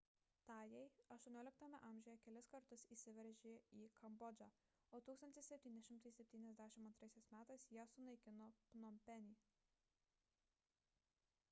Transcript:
tajai xviii a kelis kartus įsiveržė į kambodžą o 1772 m jie sunaikino pnompenį